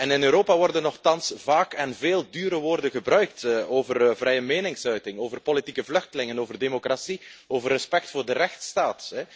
In Europa worden nochtans vaak en veel dure woorden gebruikt over vrije meningsuiting, over politieke vluchtelingen, over democratie, over respect voor de rechtsstaat.